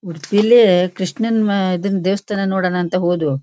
ಉಡುಪಿಲಿ ಕೃಷ್ಣನ್ ಮ ಇದರ ದೇವಸ್ತಾನ ನೋಡೋಣ ಅಂತ ಹೋದವು.